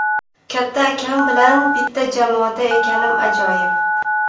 Katta akam bilan bitta jamoada ekanim ajoyib.